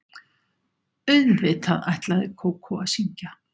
Auðvitað ætlaði Kókó að syngja.